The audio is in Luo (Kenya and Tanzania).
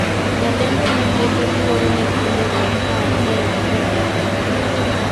Jalendone keto luoro ne timbe go ka achiel gi johera gi .